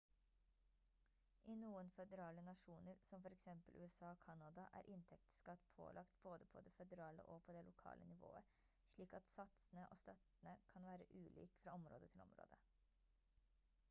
i noen føderale nasjoner som for eksempel usa og canada er inntektsskatt pålagt både på det føderale og på det lokale nivået slik at satsene og støttene kan være ulik fra område til område